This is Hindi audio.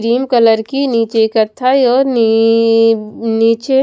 ग्रीन कलर की नीचे कत्थई और नी नीचे--